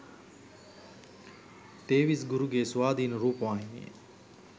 තේවිස් ගුරුගේ ස්වාධින රූපවාහිනිය